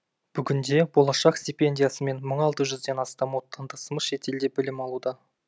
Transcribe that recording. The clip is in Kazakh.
бүгінде болашақ стипендиясымен мың алты жүзден астам отандасымыз шетелде білім алуда